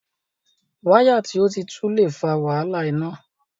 Wáyà tí o tí tú le fa wàhálà iná.